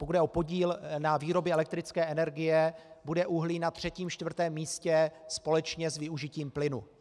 Pokud jde o podíl na výrobě elektrické energie, bude uhlí na třetím, čtvrtém místě společně s využitím plynu.